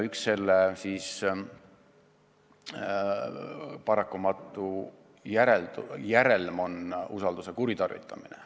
Üks sellise tegevuse paratamatu järelm on usalduse kuritarvitamine.